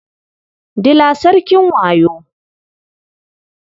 Dila sarkin wayo.